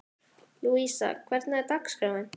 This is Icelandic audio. Lúísa, hvernig er dagskráin?